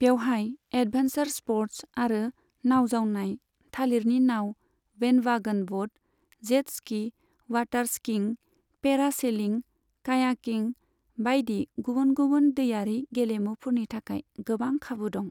बेवहाय adventure sports आरो नाउ जावनाय, थालिरनि नाउ, bandwagon boat, jet ski, water skiing, parasailing, kayaking बायदि गुबुन गुबुन दैयारि गेलेमुफोरनि थाखाय गोबां खाबु दं।